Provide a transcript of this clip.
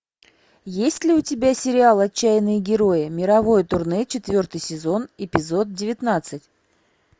есть ли у тебя сериал отчаянные герои мировое турне четвертый сезон эпизод девятнадцать